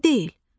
Elə deyil.